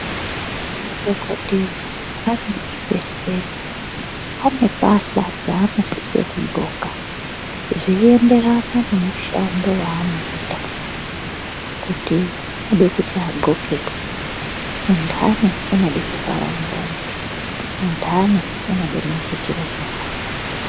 Madhokodheya ari muzvibhedhlera ane mbahla dzaanosise kudxoka zveienderana nemushando waanoita kuti unoda kuti adxokei. Undane unode zvivhara muromo, undane unode maputira nyara.